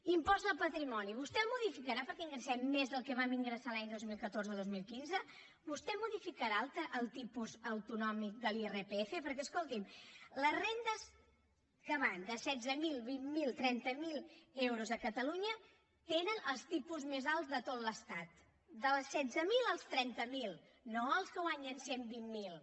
impost de patrimoni vostè el modificarà perquè ingressem més del que vam ingressar l’any dos mil catorze dos mil quinze vostè modificarà el tipus autonòmic de l’irpf perquè escolti’m les rendes que van de setze mil vint miler trenta miler euros a catalunya tenen els tipus més alts de tot l’estat dels setze mil als trenta miler no els que en guanyen cent i vint miler